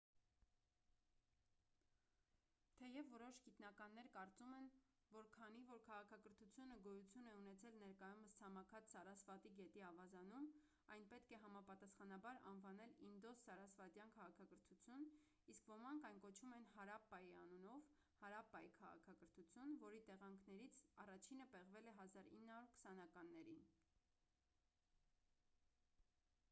թեև որոշ գիտնականներ կարծում են որ քանի որ քաղաքակրթությունը գոյություն է ունեցել ներկայումս ցամաքած սարասվատի գետի ավազանում այն պետք է համապատասխանաբար անվանել ինդոս-սարասվատյան քաղաքակրթություն իսկ ոմանք այն կոչում են հարապպայի անունով հարապպայի քաղաքակրթություն որի տեղանքներներից առաջինը պեղվել է 1920-ականներին